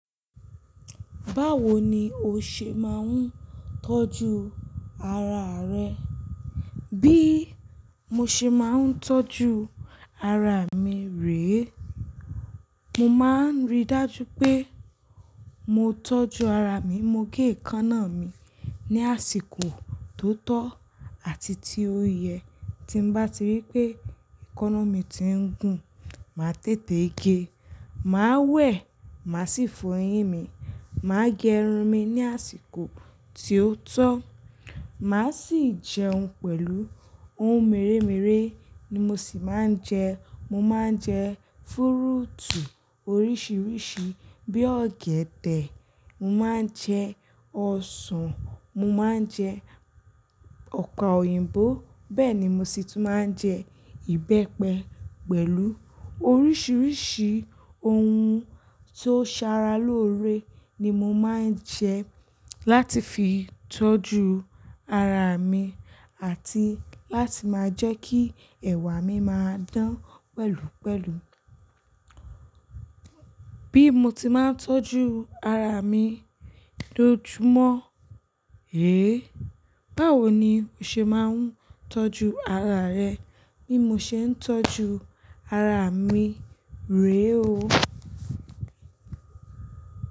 Báwo ni o ṣe máa ń tọ́jú ara rẹ? Bí mo ṣe máa ń tọ́jú ara mi rè, mo máa ń rí dájú pé mo tọ́jú ara mi. Mo gé èékánná mi ní àsìkò tó tọ́ àti tí ó yẹ. Tí n bá ti rí pé èékánná mi ti ń gùn, màá tètè gé, màá wẹ̀, màá sì fọ eyín mi. Màá gẹ irun mi ní àsìkò tí ó tọ́. Màá sì jẹun pẹ̀lú ohun mèremère ni mo sì máa ń jẹ. Mo máa ń jẹ fúrúùtù oríṣiríṣi bí ọ̀gẹ̀dẹ̀, mo máa ń jẹ ọsàn, mo máa ń jẹ ọ̀pe òyìnbó. Bẹ́ẹ̀ ni mo sì tún máa ń jẹ ìbẹ́pẹ pẹ̀lú oríṣiríṣi ohun tó sara lóore ni mo máa ń jẹ láti fi tọ́jú ara mi àti láti máa jẹ́ kí ẹ̀wà mi máa dán pẹ̀lúpẹ̀lú. Bí mo ti máa ń tọ́jú ara mi lójoojúmọ́, è? Báwo ni o ṣe máa ń tọ́jú ara rẹ? Bí mo ṣe ń tọ́jú ara mi rè o.